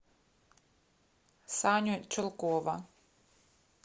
саню чулкова